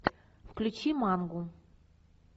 включи мангу